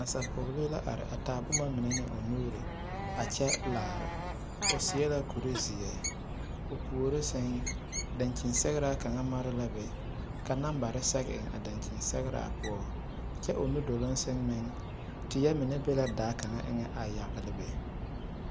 Nasapɔɡelee la are a taa boma mine ne o nuuri a kyɛ laara o seɛ la kurzeɛ o puori sɛŋ daŋkyini sɛɡraa kaŋ mare la be ka nambare sɛɡe eŋ a daŋkyini poɔ kyɛ o nudoloŋ sɛŋ meŋ teɛ mine be la daa kaŋa eŋɛ a yaɡele.